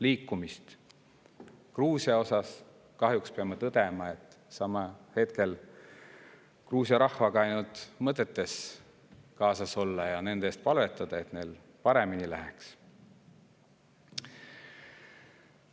Gruusia puhul peame kahjuks tõdema, et hetkel saame Gruusia rahvaga ainult mõtetes kaasas olla ja nende eest palvetada, et neil paremini läheks.